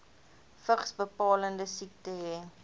vigsbepalende siekte hê